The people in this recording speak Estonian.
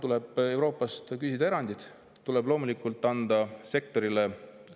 Tuleb Euroopast küsida erandeid, tuleb loomulikult anda sektorile …